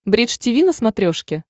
бридж тиви на смотрешке